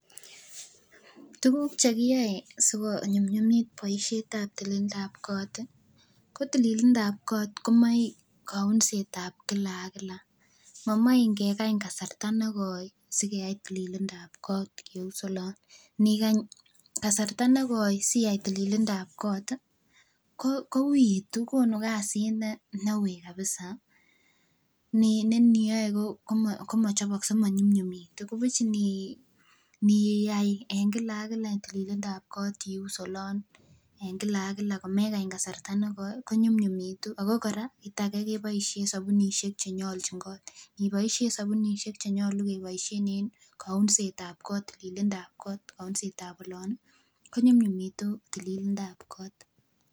Tukuk chekiyoe sikonyumnyumit boishetab tililindab koot ko tililindab koot komoe lounsetab kila ak kila, momoe ngekany kasarta nekoi sikeyai tilindab koot keuus oloon, inikany kasarta nekoi siyai tililindab koot kouitu konu kasit neuui kabisa neniyoe komochobokse komonyunyumitu nibuch inii iyai en kila ak kila iyai tililindab koot en kila ak kila komekany kasarta nekoi konyumnyumitu ak ko kora kiit akee keboishen subunishek chenyolchin koot, iboishen sobunishek chenyolu keboishen en kounsetab koot tililindab koot kounsetab oloon konyumnyumitu tililindab koot.